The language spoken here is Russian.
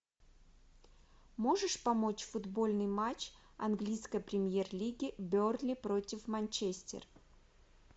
можешь помочь футбольный матч английской премьер лиги бернли против манчестер